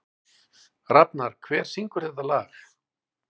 Rafnar, hver syngur þetta lag?